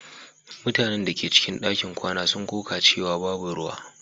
Mutanen da ke cikin ɗakin kwana sun koka cewa babu ruwa.